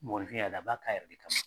Mɔgɔnifin yada, a b'a k'a yɛrɛ de ka